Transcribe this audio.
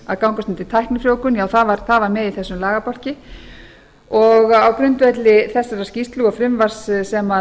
að gangast undir tæknifrjóvgun það var með í þessum lagabálki á grundvelli þessarar skýrslu og frumvarps sem